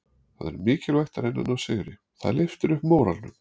Það er mikilvægt að reyna að ná sigri, það lyftir upp móralnum.